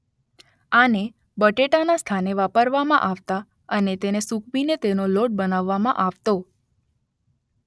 આને બટેટાના સ્થાને વાપરવામાં આવતા અને તેને સુકવીને તેનો લોટ બનાવવામાં આવતો